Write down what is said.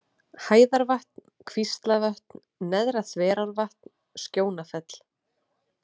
Hæðarvatn, Kvíslavötn, Neðra-Þverárvatn, Skjónafell